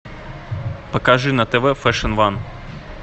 покажи на тв фэшн ван